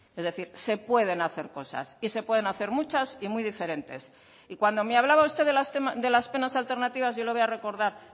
es decir se pueden hacer cosas y se pueden hacer muchas y muy diferentes y cuando me hablaba usted de las penas alternativas yo le voy a recordar